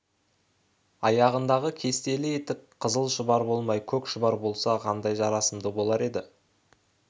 аяғындағы кестелі етік қызыл-шұбар болмай көк-шұбар болса қандай жарасымды болар еді